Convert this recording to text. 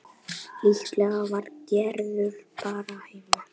Líklega var Gerður bara heima.